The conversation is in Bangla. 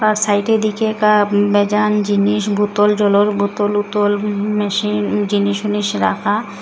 আর সাইটে দিকে কাপ বেজান জিনিস বোতল জলের বোতল উতোল উম মেশিন জিনিস উনিশ রাখা।